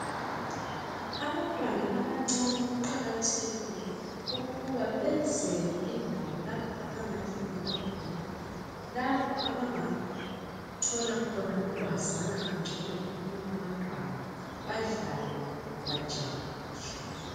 Abantwana abancane kuqakathekile ukuba benzelwe indawo lapho abangadlalela khona, lapho abangathola khona ukwazana kangcono labanye abantwana, badlale bajabule.